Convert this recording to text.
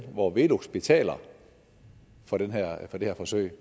hvor velux betaler for det her forsøg